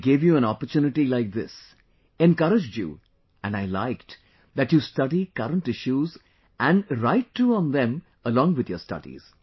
They gave you an opportunity like this, encouraged you and I liked that you study current issues and write too on them along with your studies